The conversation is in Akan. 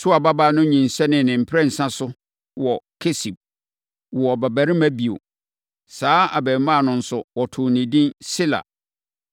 Sua babaa no nyinsɛneeɛ ne mprɛnsa so wɔ Kesib, woo ɔbabarima bio. Saa abarimaa no nso, wɔtoo no edin Sela.